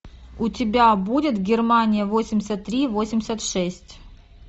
у тебя будет германия восемьдесят три восемьдесят шесть